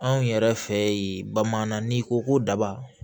Anw yɛrɛ fɛ yen bamanan n'i ko ko daba